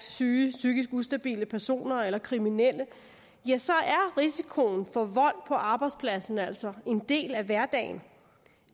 syge psykisk ustabile personer eller kriminelle er risikoen for vold på arbejdspladsen altså en del af hverdagen